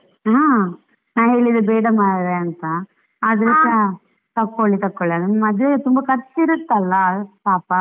ಹಾ, ನಾನು ಹೇಳಿದೆ ಬೇಡ ಮಾರ್ರೆ ಅಂತ, ಆದ್ರೆಸಾ ತಕ್ಕೊಳ್ಳಿ ತಕ್ಕೊಳ್ಳಿ ಅಂತ ಮದುವೆಯ ತುಂಬಾ ಖರ್ಚು ಇರುತ್ತಲ್ಲ ಪಾಪ.